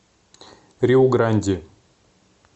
риу гранди